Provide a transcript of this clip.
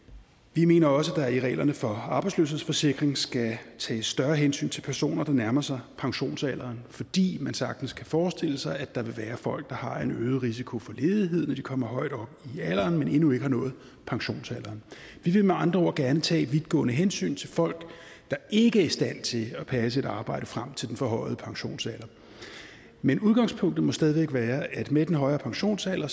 vi mener også at der i reglerne for arbejdsløshedsforsikring skal tages større hensyn til personer der nærmer sig pensionsalderen fordi man sagtens kan forestille sig at der vil være folk der har en øget risiko for ledighed når de kommer højt op i alderen men endnu ikke har nået pensionsalderen vi vil med andre ord gerne tage vidtgående hensyn til folk der ikke er i stand til at passe et arbejde frem til den forhøjede pensionsalder men udgangspunktet må stadig væk være at med den højere pensionsalder